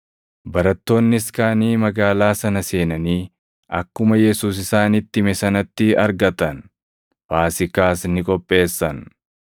Barattoonnis kaʼanii magaalaa sana seenanii akkuma Yesuus isaanitti hime sanatti argatan. Faasiikaas ni qopheessan.